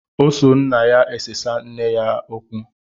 O so nna ya esesa nne gi okwu